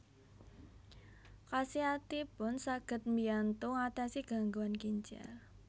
Khasiatipun saged mbiyantu ngatasi gangguan ginjal